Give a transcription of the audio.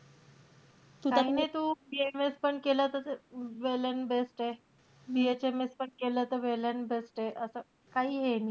काई नाई तू BAMS पण केलं त well and best ए. BHMS पण केलं त well and best ए. असं काही हे नाई.